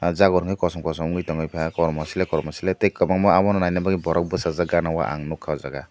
o jaborni kosom kosom wngoi tongoi ka kormo silei korm silei tei kobangma abo ni nainabagoi borok bosajak gana o ang nogkha o jaga o.